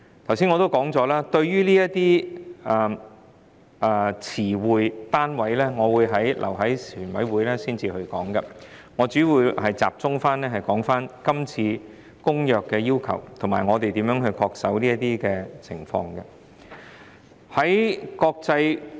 正如我剛才所說，對於這些詞彙和單位，我會留待全體委員會審議階段討論，我現在主要集中討論今次《公約》決議的要求，以及我們要如何恪守這些要求。